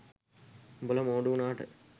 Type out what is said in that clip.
උඹලා මෝඩ උනාට